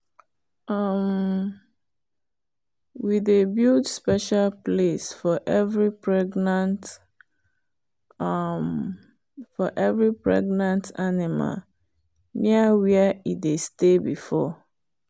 um we dey build special place for every pregnant um animal near where e dey stay before.